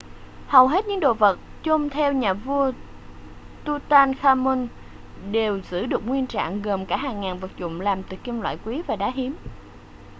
hầu hết những đồ vật chôn theo nhà vua tutankhamun đều giữ được nguyên trạng gồm cả hàng ngàn vật dụng làm từ kim loại quý và đá hiếm